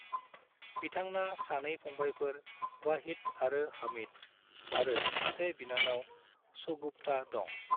बिथांना सानै फंबाइफोर वाहिद आरो हमीद, आरो सासे बिनानाव शगुफ्ता दं ।